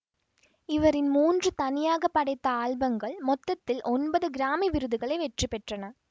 இவரின் மூன்று தனியாக படைத்த ஆல்பங்கள் மொத்தத்தில் ஒன்பது கிராமி விருதுகளை வெற்றிபெற்றன